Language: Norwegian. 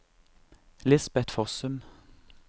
Lisbet Fossum